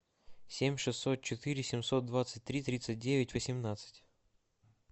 семь шестьсот четыре семьсот двадцать три тридцать девять восемнадцать